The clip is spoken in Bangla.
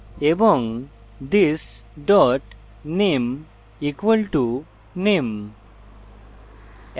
এবং this dot name = name